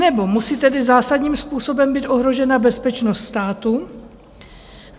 Nebo musí tedy zásadním způsobem být ohrožena bezpečnost státu.